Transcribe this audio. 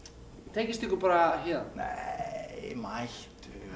tengist ykkur bara héðan nei mættu